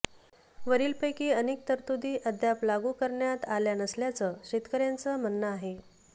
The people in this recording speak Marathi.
वरीलपैकी अनेक तरतूदी अद्याप लागू करण्यात आल्या नसल्याचं शेतकऱ्यांचं म्हणणं आहे